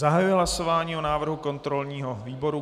Zahajuji hlasování o návrhu kontrolního výboru.